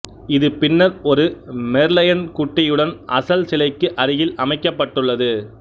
இது பின்னர் ஒரு மெர்லயன் குட்டியுடன் அசல் சிலைக்கு அருகில் அமைக்கப்பட்டுள்ளது